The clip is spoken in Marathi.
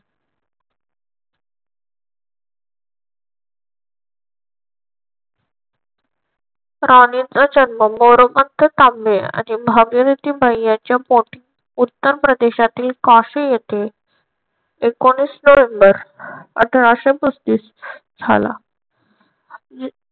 राणीचा जन्म मोरोपंत तांबे आणि भागीरथीबाई यांच्या पोटी उत्तर प्रदेशातील कासे येथे एकोणवीस नोव्हेंबर अठराशे पस्तीस झाला.